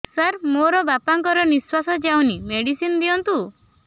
ସାର ମୋର ବାପା ଙ୍କର ନିଃଶ୍ବାସ ଯାଉନି ମେଡିସିନ ଦିଅନ୍ତୁ